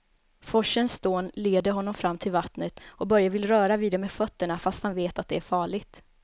Forsens dån leder honom fram till vattnet och Börje vill röra vid det med fötterna, fast han vet att det är farligt.